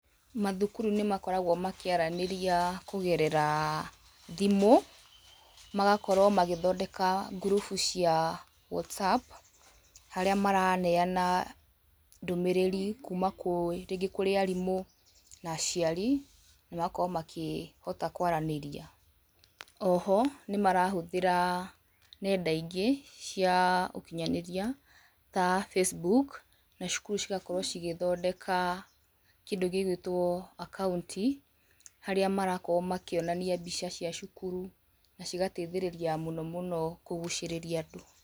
Mathukuru nĩmakoragwo makĩaranĩria kũgerera thimũ, magakorwo magĩthondeka ngurubu cia WhatsApp, harĩa maraneana ndũmĩrĩri kuma rĩngĩ kũrĩ arimũ na aciari na magakorwo makĩhota kwaranĩria. Oho, nĩmarahũthĩra nenda ingĩ cia ũkinyanĩria ta Facebook, na cukuru cigakorwo cigĩthondeka kĩndũ gĩ gwĩtwo akaunti, harĩa marakorwo makĩonania mbica cia cukuru na cigateithĩrĩria mũno mũno kũgucĩrĩria andũ.